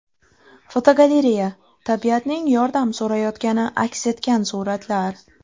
Fotogalereya: Tabiatning yordam so‘rayotgani aks etgan suratlar.